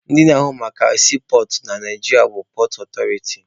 Ndị na-ahụ maka siipọọtụ na Naijiria pọọt ọtọriti.